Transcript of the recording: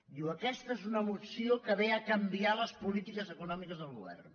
diu aquesta és una moció que ve a canviar les polítiques econò·miques del govern